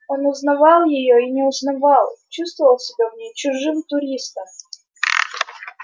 он узнавал её и не узнавал чувствовал себя в ней чужим туристом